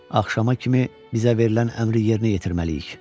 Axşama kimi bizə verilən əmri yerinə yetirməliyik.